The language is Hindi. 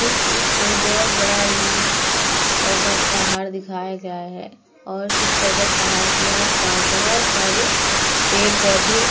इस चित्र में बहोत बड़ा ही पर्वत-पहाड़ दिखाया गया है और उस पर्वत-पहाड़ के आस-पास बहोत सारे पेड़-पौधे --